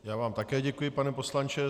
Já vám také děkuji, pane poslanče.